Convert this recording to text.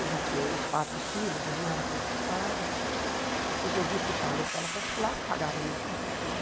Eu já tinha aí os quatro filhos, eu não era concursada, então resolvi ficar na escola particular, que pagava muito bem né.